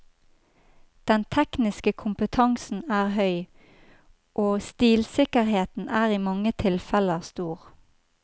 Den tekniske kompetansen er høy, og stilsikkerheten er i mange tilfeller stor.